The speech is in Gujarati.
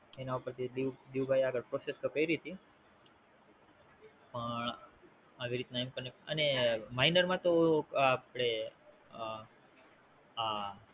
એના ઉપર દિઉભા એ આગળ Process તો કરી તી પણ આવી રીતના M connect અને Minor માં આપડે અમ આ